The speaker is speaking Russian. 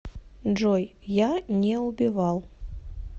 джой я не убивал